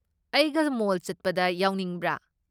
ꯑꯩꯒ ꯃꯣꯜ ꯆꯠꯄꯗ ꯌꯥꯎꯅꯤꯡꯕ꯭ꯔꯥ?